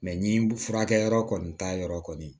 ni furakɛyɔrɔ kɔni t'a yɔrɔ kɔni